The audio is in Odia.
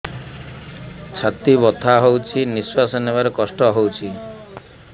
ଛାତି ବଥା ହଉଚି ନିଶ୍ୱାସ ନେବାରେ କଷ୍ଟ ହଉଚି